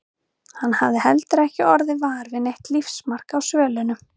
Hann hafði heldur ekki orðið var við neitt lífsmark á svölunum.